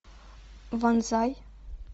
вонзай